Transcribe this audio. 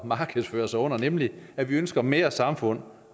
markedsføre sig under nemlig at vi ønsker mere samfund